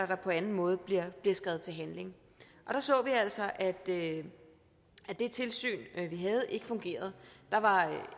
der på anden måde bliver skredet til handling der så vi altså at det tilsyn vi havde ikke fungerede der var